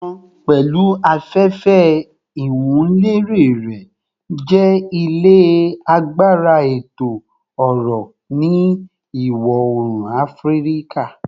Abidjan, pẹlu afefe iwunlere rẹ, jẹ ile agbara eto-ọrọ ni Iwọ-oorun Afirika